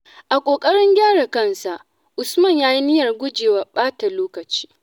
A ƙoƙarin gyara kansa, Usman ya yi niyyar gujewa ɓata lokaci.